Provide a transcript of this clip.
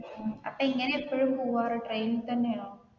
അപ്പൊ എങ്ങനെയാ എപ്പൊഴും പോവാറ് train തന്നെയോ